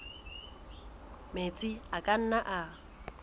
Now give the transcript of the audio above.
metsi a ka nnang a